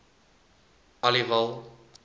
aliwal